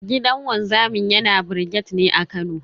Gidan wanzamin yana brigade ne a Kano.